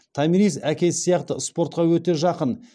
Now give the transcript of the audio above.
томирис әкесі сияқты спортқа өте жақын